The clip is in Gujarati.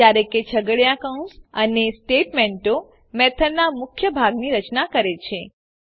જયારે કે છગડીયો કૌંસ અને સ્ટેટમેંટો મેથડનાં મુખ્ય ભાગની રચના કરે છે